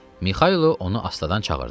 Mixaylov onu astadan çağırdı.